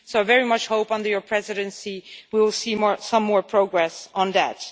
I very much hope under your presidency we will see more progress on that.